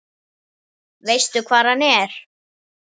Veistu hvar hann er?